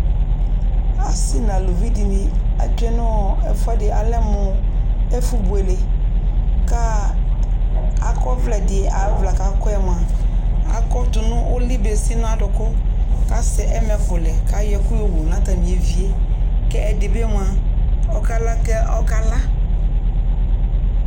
asii nʋ alʋvi dini atwɛ nʋɔ ɛƒʋɛdi alɛmʋ ɛƒʋ bʋɛlɛ ka akɔ ɔvlɛ di, ɔvlɛ kʋ akɔɛ mʋa akɔ tʋnʋ uli bɛsi nʋ adʋkʋ kʋ asɛ ɛmɛkʋ lɛ kʋayɔ ɛkʋ yɔwʋ nʋ atami ɛviɛ kʋ ɛdi bi mʋa ɔkala kɛ ɔkala